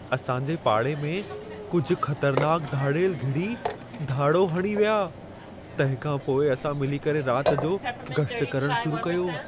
असांजे पाड़े में कुझ ख़तरनाक धाड़ेल घिड़ी, धाड़ो हणी विया। तंहिंखां पोइ असां मिली करे राति जो गश्त करणु शुरू कयो।